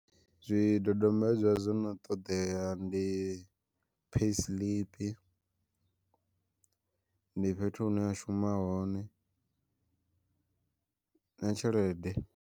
Zwi dodombedzwa zwo no ṱoḓea ndi, payisiḽipi ndi fhethu hune a shuma hone na tshelede.